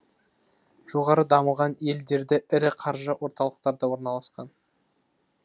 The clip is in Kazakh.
жоғары дамыған елдерде ірі қаржы орталықтары да орналасқан